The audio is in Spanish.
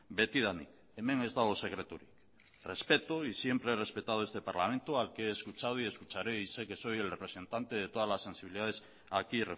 betidanik hemen ez dago sekreturik respeto y siempre he respetado este parlamento al que he escuchado y escucharé y sé que soy el representante de todas las sensibilidades aquí